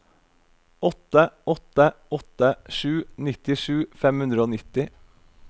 åtte åtte åtte sju nittisju fem hundre og nitti